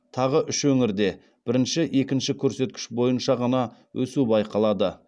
тағы үш өңірде бірінші екінші көрсеткіш бойынша ғана өсу байқалады